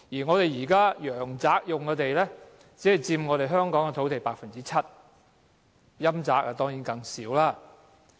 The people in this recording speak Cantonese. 我們現時陽宅用的土地，只佔香港土地的 7%， 陰宅當然是更少。